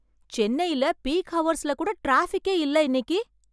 சென்னையில peak hours கூட டிராபிக்கே இல்ல இன்னைக்கு!